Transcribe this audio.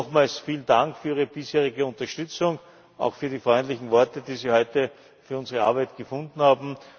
Nochmals vielen Dank für Ihre bisherige Unterstützung, auch für die freundlichen Worte, die Sie heute für unsere Arbeit gefunden haben.